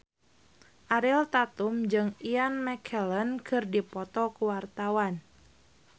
Ariel Tatum jeung Ian McKellen keur dipoto ku wartawan